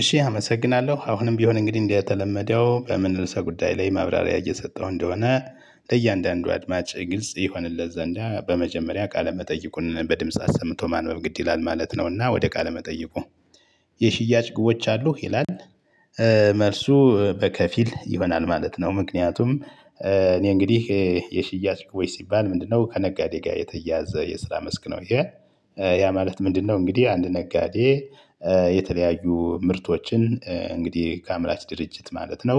እሺ አመሰግናለሁ አሁንም ቢሆን እንግዲህ እንደተለመደው በምን ርዕሰ ጉዳይ ላይ ማብራሪያ እየሰጠው እንደሆነ ለእያንዳንዱ አድማጭ ግልጽ ይሆንለት ዘንዳ በመጀመሪያ ቃለ መጠይቁን በድምጽ አሰምቶ ማንበብ ግድ ይላል። ማለት ነውና ወደ ቃለ መጠየቁ የሽያጭ ግቦች አሉህ ይላል? መልሱ በከፊል ይሆናል ማለት ነው። ምክንያቱም እኔ እንግዲህ የሽያጭ ወይ ሲባል ምንድነው? ከነጋዴ ጋር የተያዘ የስራ መስክ ነው። ይሄ ያ ማለት ምንድነው? እንግዲህ አንድ ነጋዴ። የተለያዩ ምርቶችን እንግዲህ ከአምራች ድርጅት ማለት ነው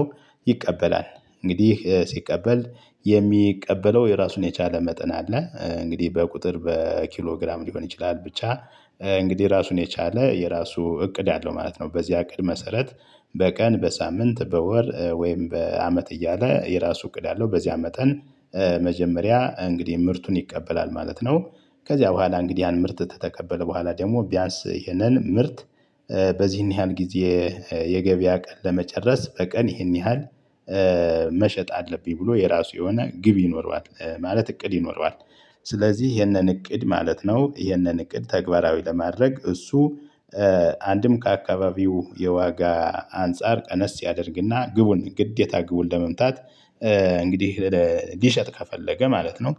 ይቀበላል። እንግዲህ ሲቀበል የሚቀበለው የራሱን የቻለ መጠን አለ እንግዲህ በቁጥር በኪሎ ግራም ሊሆን ይችላል ብቻ እንግዲህ ራሱን የቻለ የራሱ እቅድ አለው ማለት ነው። በዚያ እቅድ መሰረት በቀን በሳምንት በወር ወይም በአመት እያለ የራሱ እቅድ አለው በዚያ መጠን። መጀመሪያ እንግዲህ ምርቱን ይቀበላል ማለት ነው። ከዚያ በኋላ እንግዲህ ያን ምርት ከተቀበለ በኋላ ደግሞ ቢያንስ ይኸነን ምርት በዚህን ያህል ጊዜ የገበያ ቀን ለመጨረስ በቀን ይህን ያህል መሸጥ አለብኝ ብሎ የራሱ የሆነ ግብ ይኖረዋል ማለት እቅድ ይኖረዋል። ስለዚህ ይህንን እቅድ ማለት ነው ይህንን እቅድ ተግባራዊ ለማድረግ እሱ አንድም ከአካባቢው የዋጋ አንፃር ቀነስ ያደርግና ግቡን ግዴታ ግቡን ለመምታት። እንግዲህ ሊሸጥ ከፈለገ ማለት ነው።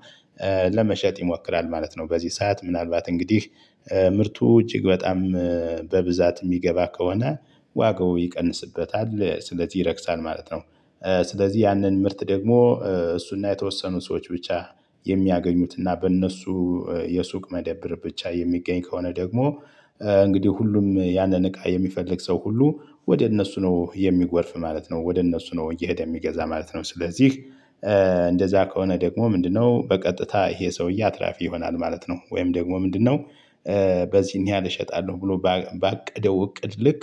ለመሸጥ ይሞክራል ማለት ነው። በዚህ ሰዓት ምናልባት እንግዲህ ምርቱ እጅግ በጣም በብዛት እሚገባ ከሆነ ዋጋው ይቀንስበታል ስለዚህ ይረክሳል ማለት ነው። ስለዚህ ያንን ምርት ደግሞ እሱና የተወሰኑ ሰዎች ብቻ የሚያገኙትና በእነሱ የሱቅ መደብር ብቻ የሚገኝ ከሆነ ደግሞ እንግዲህ ሁሉም ያንን እቃ የሚፈልግ ሰው ሁሉ ወደ እነሱ ነው የሚጎርፍ ማለት ነው ወደ እነሱ ነው እየሄደ የሚገዛ ማለት ነው። ስለዚህ እንደዛ ከሆነ ደግሞ ምንድነው? በቀጥታ ይሄ ሰውዬ አትራፊ ይሆናል ማለት ነው። ወይም ደግሞ ምንድነው? በዚህን ያህል እሸጣለሁ ብሎ ባቀደው እቅድ ልክ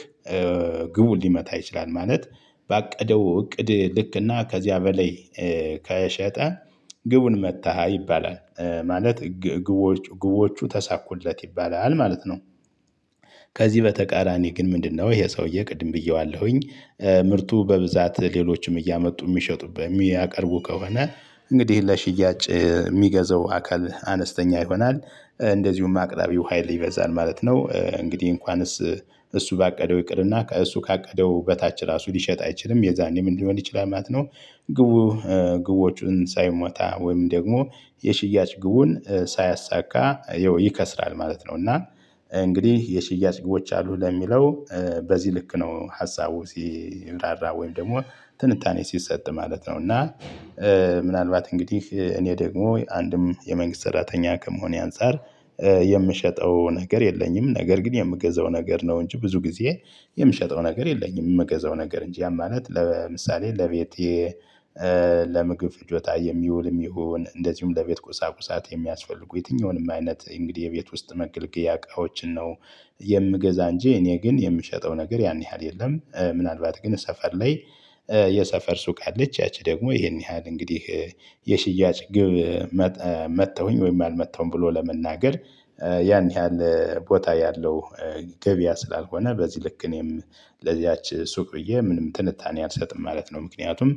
ግቡን ሊመታ ይችላል ማለት። ባቀደው እቅድ ልክና ከዚያ በላይ ከሸጠ ግቡን መታ ይባላል ማለት ግቦች ግቦቹ ተሳኩለት ይባላል ማለት ነው። ከዚህ በተቃራኒ ግን ምንድነው? ይሄ ሰውዬ ቅድም ብዬዋለሁኝ። ምርቱ በብዛት ሌሎችም እያመጡ እሚሸጡበት እሚያቀርቡ ከሆነ እንግዲህ ለሽያጭ እሚገዛው አካል አነስተኛ ይሆናል። እንደዚሁም አቅራቢው ሀይል ይበዛል ማለት ነው። እንግዲህ እንኳንስ እሱ ባቀደው ይቅርና እሱ ካቀደው በታች ራሱ ሊሸጥ አይችልም የዛኔ ምን ሊሆን ይችላል ማለት ነው። ግቡ ግቦቹን ሳይመታ ወይም ደግሞ የሽያጭ ግቡን ሳያሳካ ይከስራል ማለት ነው። እና እንግዲህ የሽያጭ ግቦች አሉ ለሚለው በዚህ ልክ ነው ሀሳቡ ሲብራራ ወይም ደግሞ ትንታኔ ሲሰጥ ማለት ነው። እና ምናልባት እንግዲህ እኔ ደግሞ አንድም የመንግስት ሰራተኛ ከመሆኔ አንፃር የምሸጠው ነገር የለኝም። ነገር ግን የምገዛው ነገር ነው እንጂ ብዙ ጊዜ የምሸጠው ነገር የለኝም። እምገዛው ነገር እንጂ ያ ማለት ለምሳሌ ለቤቴ ለምግብ ፍጆታ የሚውልም ይሁን እንደዚሁም ለቤት ቁሳቁሳት የሚያስፈልጉ የትኛውንም አይነት እንግዲህ የቤት ውስጥ መገልገያ እቃዎችን ነው። የምገዛ እንጂ እኔ ግን የምሸጠው ነገር ያን ያህል የለም። ምናልባት ግን እሰፈር ላይ የሰፈር ሱቅ አለች ያቺ ደግሞ ይሄን ያህል እንግዲህ የሽያጭ ግብ መታሁኝ ወይም አልመታሁም ብሎ ለመናገር ያን ያህል ቦታ ያለው ገበያ ስላልሆነ በዚህ ልክ እኔም ለዚያች ሱቅ ብዬ ምንም ትንታኔ አልሰጥም ማለት ነው። ምክንያቱም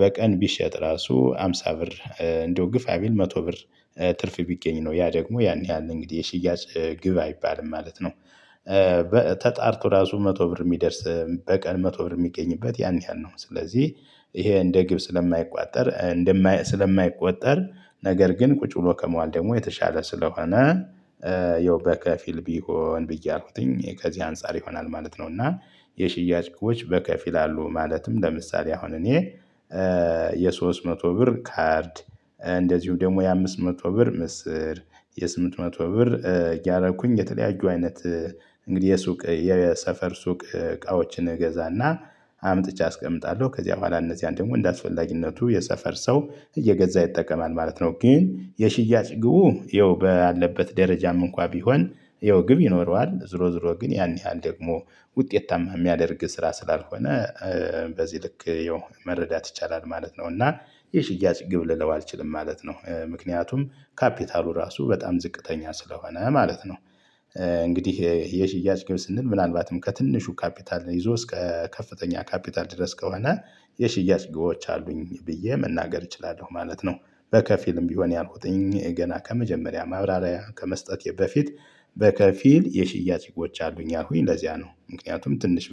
በቀን ቢሸጥ ራሱ ሃምሳ ብር እንደው ግፋቢል መቶ ብር ትርፍ ቢገኝ ነው ያ ደግሞ ያን ያህል እንግዲህ የሽያጭ ግብ አይባልም ማለት ነው። ተጣርቶ ራሱ መቶ ብር እሚደርስ በቀን መቶ ብር እሚገኝበት ያን ያህል ነው። ስለዚህ ይሄ እንደ ግብ ስለማይቆጠር ስለማይቆጠር ነገር ግን ቁጭ ብሎ ከመዋል ደግሞ የተሻለ ስለሆነ ያው በከፊል ቢሆን ብዬ ያልኩትኝ ከዚህ አንፃር ይሆናል ማለት ነው። እና የሽያጭ ግቦች በከፊል አሉ ማለትም ለምሳሌ አሁን እኔ የሶስት መቶ ብር ካርድ እንደዚሁ ደግሞ የአምስት መቶ ብር ምስር የስምንት መቶ ብር እያደረኩኝ የተለያዩ አይነት እንግዲህ የሱቅ የሰፈር ሱቅ እቃዎችን እገዛና አምጥቼ አስቀምጣለሁ ከዚያ በኋላ እነዚያን ደግሞ እንደአስፈላጊነቱ የሰፈር ሰው እየገዛ ይጠቀማል ማለት ነው። ግን የሽያጭ ግቡ ያው ባለበት ደረጃም እንኳን ቢሆን ይኸው ግብ ይኖረዋል ዝሮ ዝሮ ግን ያን ያህል ደግሞ ውጤታማ እሚያደርግ ስራ ስላልሆነ በዚህ ልክ ያው መረዳት ይቻላል ማለት ነው። እና የሽያጭ ግብ ልለው አልችልም ማለት ነው። ምክንያቱም ካፒታሉ ራሱ በጣም ዝቅተኛ ስለሆነ ማለት ነው። እንግዲህ የሽያጭ ግብ ስንል ምናልባትም ከትንሹ ካፒታል ይዞ እስከ ከፍተኛ ካፒታል ድረስ ከሆነ የሽያጭ ግቦች አሉኝ ብዬ መናገር እችላለሁ ማለት ነው። በከፊልም ቢሆን ያልኩትኝ ገና ከመጀመሪያ ማብራሪያ ከመስጠቴ በፊት በከፊል የሽያጭ ህጎች አሉኝ ያልኩኝ ለዚያ ነው። ምክንያቱም ትንሽ